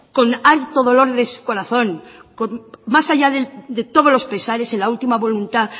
con harto dolor de su corazón con más allá de todos los pesares en la última voluntad